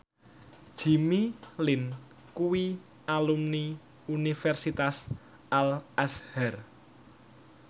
Jimmy Lin kuwi alumni Universitas Al Azhar